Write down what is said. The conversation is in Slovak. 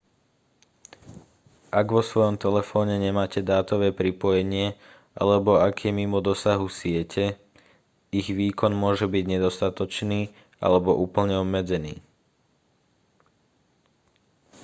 ak vo svojom telefóne nemáte dátové pripojenie alebo ak je mimo dosahu siete ich výkon môže byť nedostatočný alebo úplne obmedzený